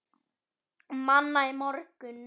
Manna í morgun.